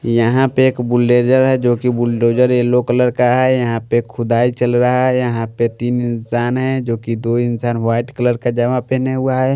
यहां पे एक बुलडोजर हैजो कि बुलडोजर येलो कलर का है यहां पे खुदाई चल रहा है यहां पे तीन इंसान हैं जो कि दो इंसान वाइट कलर का जामा पहने हुआ है।